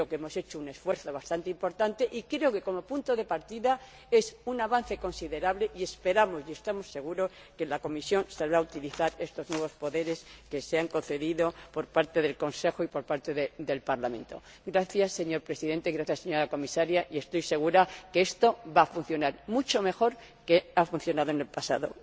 Yo creo que hemos hecho un esfuerzo bastante importante y creo que como punto de partida es un avance considerable y esperamos y estamos seguros de que la Comisión sabrá utilizar estos nuevos poderes que le han concedido el Consejo y el Parlamento. Gracias señor Presidente, gracias señora Comisaria, estoy segura de que esto va a funcionar mucho mejor de lo que ha funcionado en el pasado.